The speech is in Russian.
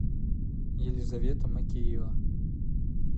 елизавета макеева